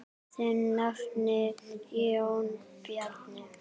Þinn nafni, Jón Bjarni.